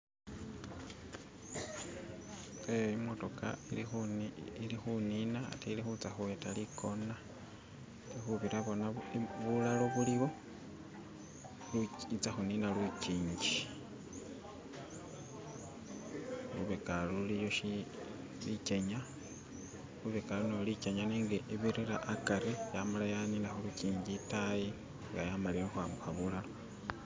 Ehe emitoka eri kunina ate eri kuza kuweta ikona eti kubira bona bulalo buliwo, eza kunina lujiji, lubega ulu luliyo lijenya lubega ulu nalo lijenya nenge ebirira akhari nga yamala yanina kulujinji etayi nga yamalile okwambuka bulalo.